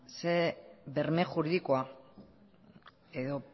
zer berme juridikoa edo